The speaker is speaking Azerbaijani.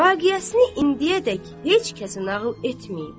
Vaqiəsini indiyədək heç kəsə nağıl etməyib.